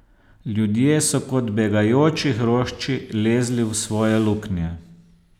Ljudje so kot begajoči hrošči lezli v svoje luknje.